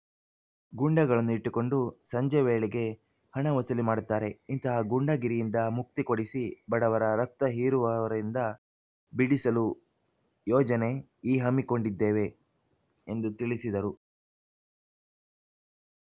ಗೂಂಡಗಳನ್ನು ಇಟ್ಟುಕೊಂಡು ಸಂಜೆ ವೇಳೆಗೆ ಹಣ ವಸೂಲಿ ಮಾಡುತ್ತಾರೆ ಇಂತಹ ಗೂಂಡಾಗಿರಿಯಿಂದ ಮುಕ್ತಿ ಕೊಡಿಸಿ ಬಡವರ ರಕ್ತ ಹೀರುವವರಿಂದ ಬಿಡಿಸಲು ಯೋಜನೆ ಈ ಹಮ್ಮಿಕೊಂಡಿದ್ದೇವೆ ಎಂದು ತಿಳಿಸಿದರು